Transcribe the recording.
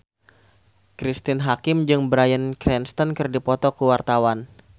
Cristine Hakim jeung Bryan Cranston keur dipoto ku wartawan